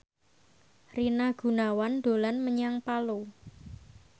Rina Gunawan dolan menyang Palu